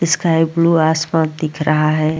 इस sky blue आसमान दिख रहा है।